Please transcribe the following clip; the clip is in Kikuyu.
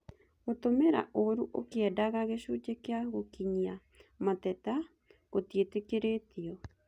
Gũtũmĩra ũũru ũkĩendaga gĩcunjĩ kĩa gũkinyia mateta gũtiĩtĩkĩrĩtio